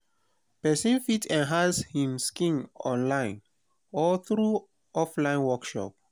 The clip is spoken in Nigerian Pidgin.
persin fit enhance im skill online or through offline workshop